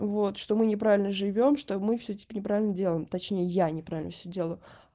вот что мы неправильно живём что мы всё типа неправильно всё делаем точнее я неправильно всё делаю